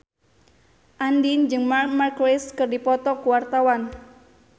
Andien jeung Marc Marquez keur dipoto ku wartawan